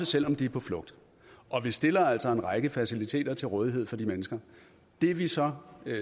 selv om de er på flugt og vi stiller altså en række faciliteter til rådighed for de mennesker det vi så